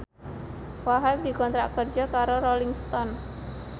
Wahhab dikontrak kerja karo Rolling Stone